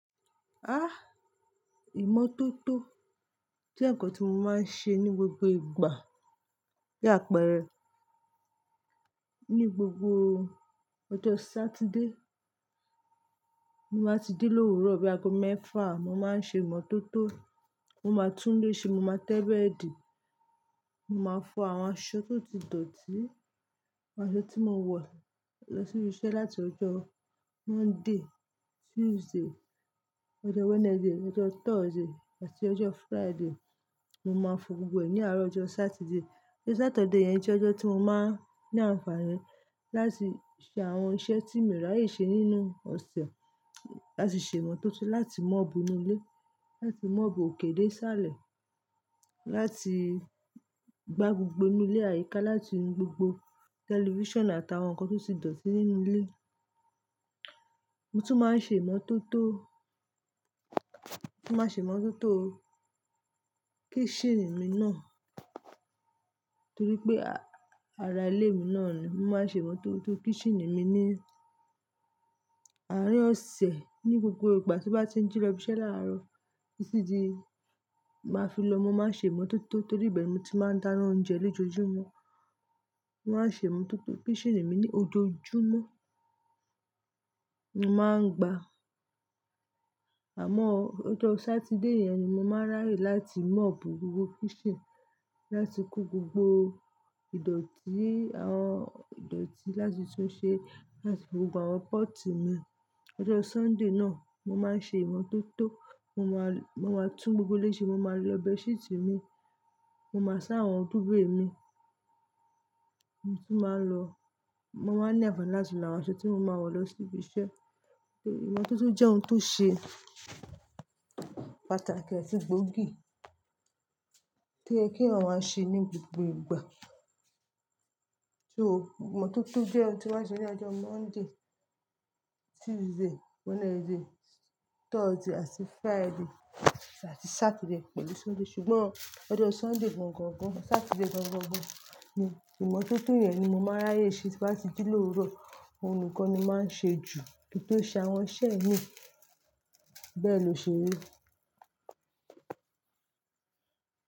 Ah! Ìmọ́tótó je nǹkan tí mo máa ń ṣe ní gbogbo ìgbà bí àpẹrẹ ní gbogbo ọjọ́ Satida ti mo máa ti jí lówùrọ̀ bí aago mẹ́fà, mo máa n ṣe ìmọ́tótó, mo máa tún ilé ṣe, mo máa tẹ́ bẹ́ẹ̀dì, mo máa fọ àwọn aṣọ tó ti dọ̀tí, àwọn aṣọ tí mo wọ̀ lọ sí ibi iṣẹ́ láti ọjọ́ Monday, Tuesday, ọjọ́ Wednesday, ọjọ́ Thursday àti ọjọ́ Friday. Mo máa fọ gbogbo ẹ̀ ní àárọ̀ ọjọ́ Saturday. Ojo Saturday yẹn jẹ́ ọjọ́ tí mo máa ń ní àǹfààní láti ṣe àwọn iṣẹ́ tí miì ràyè ṣe nínú ọ̀sẹ̀, láti ṣe ìmọ́tótó, láti mọ́obù inu ilé, láti mọ́ọ̀bù okè dé isálẹ̀, láti gbá gbogbo inú ilé àyíká, láti nu gbogbo tẹlifíṣàn àtàwọn ǹkan tó ti dọ̀tí nínú ilé. Mo tún máa ń ṣe ìmọ́tótó, mo tún máa ń ṣe ìmọ́tótó kíṣínìì mi náà torí pé ara ilé mi náà ni. Mo máa ń ṣe ìmọ́tótó kíṣínìì mi ní àárín ọ̀sẹ̀ ní gbogbo ìgbà tí n bá ti ń jí lọ ibi iṣẹ́ láárọ̀. Titi di máa fi lọ mọ mo máa ṣe ìmọ́tótó torí ibẹ́ni mo ti máa ń dáná oúnjẹ lójoojúmọ́. Mo máa ń ṣe ìmọ́tótó kíṣínìì mi ní ojoojúmọ́. Mo máa ń gba, àmọ́ ọjọ́ Saturday yẹn ni mo máa ràyè láti mọ́ọ̀bù gbogbo kíṣínìì, láti ku gbogbo ìdọ̀tí, àwọn ìdọ̀tí láti tun ṣe, áti gbogbo àwọn pọ́ọ̀tì naa. Ọjọ́ Sunday náà, mo máa ń ṣe ìmọ́tótó, mo máa, mo máa tú n gbogbo ilé ṣe, mo máa lọ bẹd ṣhíítìì mi, mo máa sá àwọn dúvè mi. Mo tún máa ń lọ-- mo máa ń ní àǹfààní láti lo àwọn aṣọ tí mo máa wọ̀ lọ sí ibi iṣẹ́. Ìmọ́tótó jẹ́ ohun tó ṣe pàtàkì atí gbógì toyẹ kí èèyàn ọ ma ṣe ní gbogbo ìgbà. So, ìmọ́tótó jẹ́ ohun tí mo maa n ṣe ní ọjọ́ Monday, Tuesday, Wednesday, Thursday àti Friday àti Saturday pẹ̀lú Sunday. Ṣùgbọ́n ọjọ́ Sunday gan gàn gan, Saturday gan gàn gan ni ìmọ́tótó yẹn ni mo máa n ràyè ṣe tí n bá ti jí lówuro Òhun nìkan ni mo máa ń ṣe jù kí n tó ṣe àwọn iṣẹ́ mi. Bẹ́ẹ̀ ni òṣèrii.